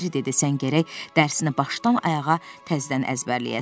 Merri dedi: “Sən gərək dərsini başdan-ayağa təzədən əzbərləyəsən.